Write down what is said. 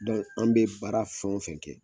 an bɛ baara fɛn o fɛn kɛ.